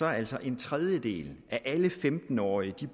altså en tredjedel af alle femten årige